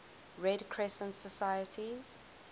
red crescent societies